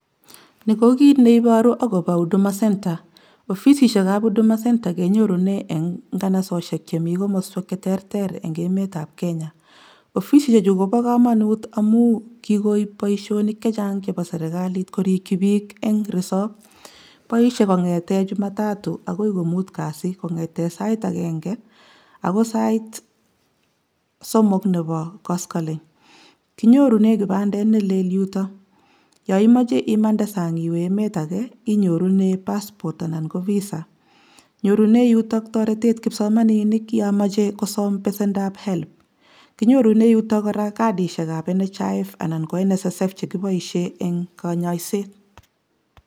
Ni kokit neiboru akopo Huduma centre ofisisiekab Huduma centre kenyorunen en nganasosiek chemikomoswek cheterter engemetab Kenya ofisisiechu kobokomonut amun kikoip boishonik che chang chepo serikalit korikyi biik en resop boishe kon'geten jumatatu akoi komut kazi kong'eten sait agenge akoi sait somok nebo koskoling kinyorunen kipandet nelel yuto yoimoche imande sang iwee emet agee inyorunen Passport anan ko Visa nyorunen yuton toretet kipsomaninik yomoche kosom pesendab Helb kinyorunen yutok kora kadishekab National Hospital Insurance Funds{NHiF} anan ko National Social Security Fund{ NSSF} chekiboishen en konyoiset